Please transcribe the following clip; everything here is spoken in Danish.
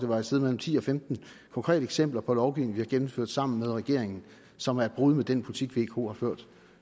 var et sted mellem ti og femten konkrete eksempler på lovgivning vi har gennemført sammen med regeringen og som er et brud med den politik vko har ført